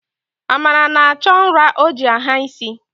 Amara na-achọ nra o ji agha isi